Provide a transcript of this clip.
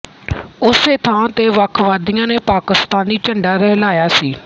ਉਸੇ ਥਾਂ ਤੇ ਵੱਖਵਾਦੀਆਂ ਨੇ ਪਾਕਿਸਤਾਨੀ ਝੰਡਾ ਲਹਿਰਾਇਆ ਸੀ